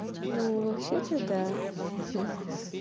ну вообще-то да ха-ха